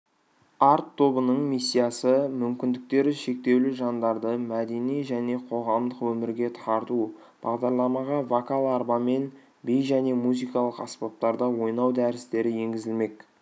арт тобының миссиясы мүмкіндіктері шектеулі жандарды мәдени және қоғамдық өмірге тарту бағдарламаға вокал арбамен би және музыкалық аспаптарда ойнау дәрістері енгізілмек